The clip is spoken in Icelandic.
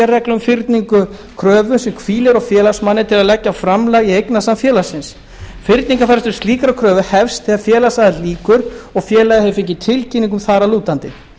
um fyrningu kröfu sem hvílir á félagsmanni til að leggja framlag í eignasafn félagsins fyrningarfrestur slíkrar kröfu hefst þegar félagsaðild lýkur og félagið hefur fengið tilkynningu þar að lútandi